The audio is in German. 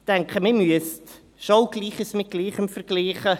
Ich denke, man müsste schon auch Gleiches mit Gleichem vergleichen.